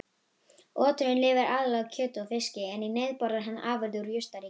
Oturinn lifir aðallega á kjöti og fiski en í neyð borðar hann afurðir úr jurtaríkinu.